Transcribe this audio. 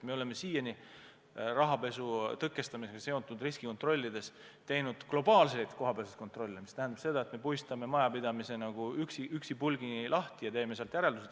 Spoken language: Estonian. Me oleme siiani rahapesu tõkestamisega seotud riskikontrollidest teinud globaalseid kohapealseid kontrolle, mis tähendab seda, et me harutame majapidamise nagu üksipulgi lahti ja teeme sellest järeldused.